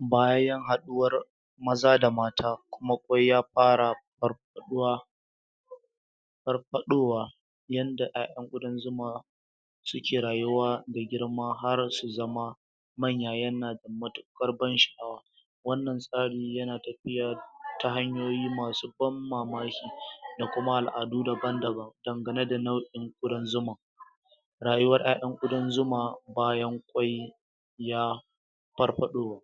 bayan haɗuwar maza da mata kuma ƙwai ya fara farfaɗuwa farfaɗowa yadda ƴaƴan ƙudan zuma suke rayuwa da girma har su zama manya yana da matuƙar ban sha'awa wannan tsari yana tafiya ta hanyoyi masu ban mamaki da kuma al'adu daban-daban dangane da nau'in ƙudan zuma rayuwar ƴaƴan ƙudan zuma bayan ƙwai ya farfaɗo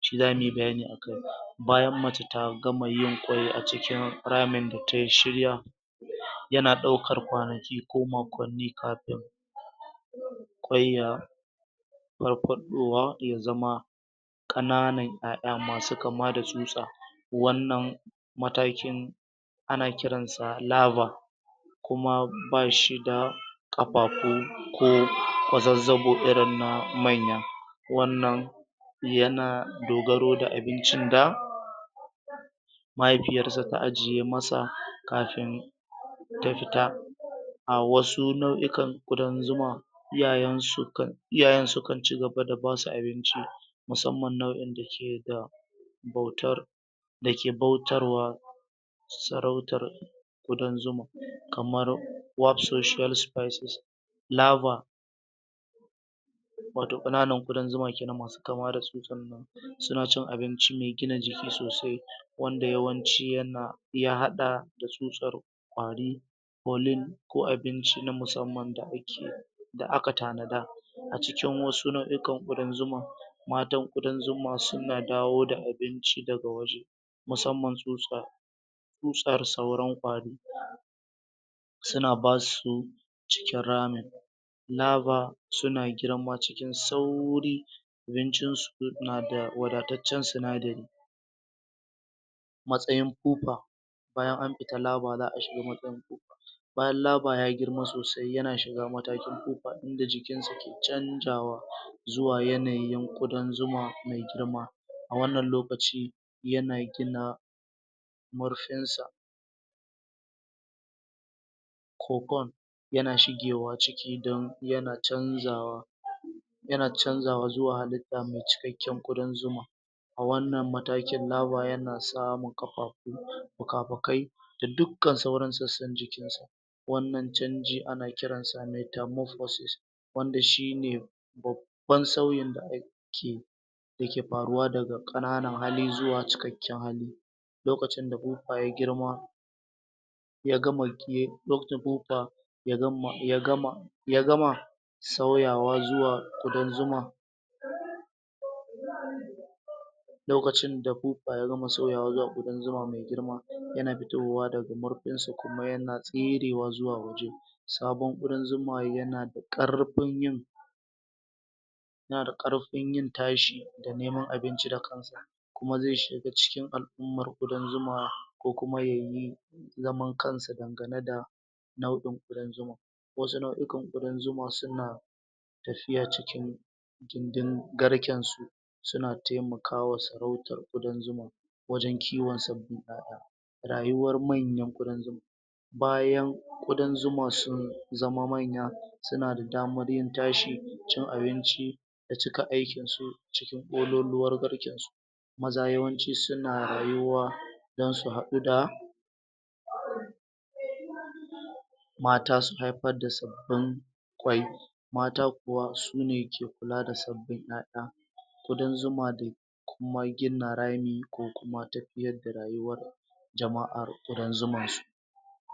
shi zamu yi bayani a kai bayan mace ta gama yin ƙwai a cikin ramin da tai shirya yana ɗaukar kwanaki ko makwanni kafin ƙwai ya farfadowa ya zama ƙananan ƴaƴa masu kama da tusatsa wannan matakin ana kiransa larvae kuma bashi da ƙafafu ko kwazazzabo irin na manya wannan yana dogaro da abincin da mahifiyarsa ta ajiye masa kafin ta fita a wasu nau'ikan ƙudan zuma iyayen sukan iyayen sukan cigaba da basu abinci musamman nau'in da ke da bautar da ke bautarwa sarautar ƙudan zuma kamar warp social spices larvae wato ƙananan ƙudan zuma kenan masu kama da tsutsan nan suna cin abinci me gina jiki sosai wanda yawanci yana ya haɗa da tsutsar ƙwari kolin ko abinci na musamman da ake da aka tanada a cikin wasu nau'ikan ƙudan zuma matan ƙudan zuma suna dawo da abinci daga waje musamman tsutsa tsutsar sauran ƙwari suna basu cikin ramin larvae suna girma cikin sauri abincinsu nada wadataccen sinadari matsayin pupa bayan an fita larvae za a shiga matsayin pupa bayan larvae ya girma sosai yana shiga matakin pupa inda jikinsu ke canjawa zuwa yanayin ƙudan zuma me girma a wannan lokaci yana gina murfinsa ko kon yana shigewa ciki don yana canjawa zuwa yana canjawa zuwa halitta me cikakken ƙudan zuma a wannan matakin larvae yana samun ƙafafu fufafukai da dukkan sauran sassan jikinsa wannan canji ana kiransa metamophorsis wanda shi ne babban sauyin da ake daga ƙananan hali zuwa cikakken hali lokacin da pupa ya girma ya gama ya da pupa ya gama, ya gama ya gama sauyawa zuwa ƙudan zuma lokacin da pupa ya gama sauyawa zuwa ƙudan zuma mai girma yana fitowa daga murfinsa kuma yana tserewa zuwa waje sabon ƙudan zuma yana da ƙarfin yin nada ƙarfin yin tashi da neman abinci da kansa kuma zai shiga cikin al'ummar ƙudan zuma ko kuma ya yi zaman kansa dangane da nau'in ƙudan zuma wasu nau'ikan ƙudan zuma suna tafiya cikin don garkensu suna taimakawa sarautar ƙudan zuma wajen kiwon sabbin ƴaƴa rayuwar manyan ƙudan zuma bayan ƙudan zuma sun zama manya suna da damar yin tashi cin abinci da cika aikinsu cikin ƙololuwar garkensu maza yawanci suna rayuwa don su haɗu da mata su haifar da sabbin ƙwai mata kuwa su ne ke kula da sabbin ƴaƴa ƙudan zuma da kuma gina rami ko kuma tafiyar da rayuwar jama'ar ƙudan zuman su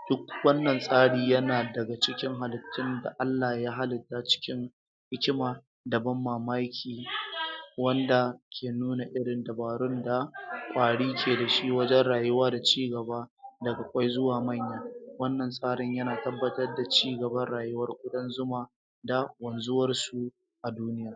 duk wannan tsari yana daga cikin halittun da Allah ya halitta cikin da hikima da ban mamaki wanda ke nuna irin dabarun da ƙwari ke da shi wajen rayuwa da cigaba daga ƙwai zuwa manya wannan tsarin yana tabbatar da cigaban rayuwar ƙudan zuma da wanzuwarsu a duniya